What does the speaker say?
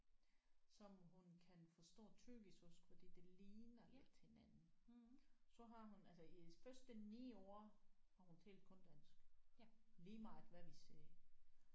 Som hun kan forstå tyrkisk også fordi det ligner lidt hinanden så har hun altså i hendes første 9 år har hun talt kun dansk lige meget hvad vi sagde